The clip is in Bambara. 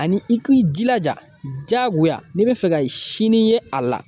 Ani i k'i jilaja diyagoya n'i bɛ fɛ ka sini ye a la